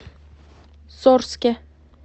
сорске